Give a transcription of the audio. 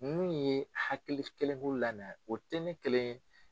Ninnu ye hakilikelenko lana o tɛ ne kelen ye